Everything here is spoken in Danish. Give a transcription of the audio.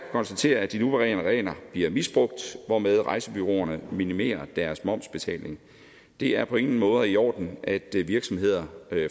konstatere at de nuværende regler bliver misbrugt hvormed rejsebureauerne minimerer deres momsbetaling det er på ingen måder i orden at virksomheder